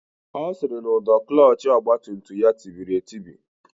Ọ sịrị na ụdọ klọọchị ọgbatumtum ya tibiri etibi